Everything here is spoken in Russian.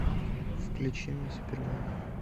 включи мне супермен